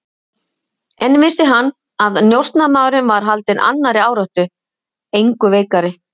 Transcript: En vissi hann, að njósnarmaðurinn var haldinn annarri áráttu, engu veikari?